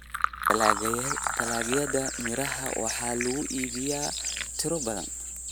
Dalagyada miraha waxaa lagu iibiyaa tiro badan.